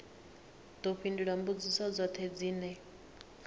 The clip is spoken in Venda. ḓo fhindula mbudziso dzoṱhe dzine